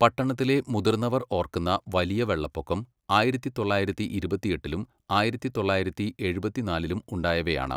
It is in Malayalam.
പട്ടണത്തിലെ മുതിർന്നവർ ഓർക്കുന്ന വലിയ വെള്ളപ്പൊക്കം ആയിരത്തി തൊള്ളായിരത്തി ഇരുപത്തിയെട്ടിലും ആയിരത്തി തൊള്ളായിരത്തി എഴുപത്തിനാലിലും ഉണ്ടായവയാണ്.